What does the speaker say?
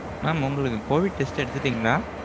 mam உங்களுக்கு COVID test எடுத்திடீங்களா?